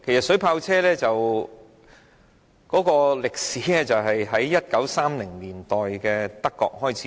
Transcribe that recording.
水炮車是在1930年代於德國開始使用。